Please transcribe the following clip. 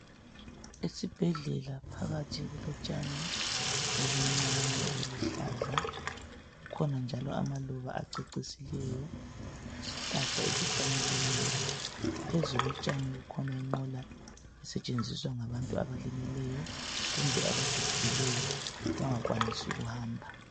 esibhedlela phakathi kulotshani obuncane obuluhlaza kukhona njalo amaluba acecisileyo lesihlahla esihlanyeliweyo phezu kotshani kukhona inqola esesthenziswa ngabantu abalimeleyo kumbe abagoggekileyo abangakwanisi ukuhamba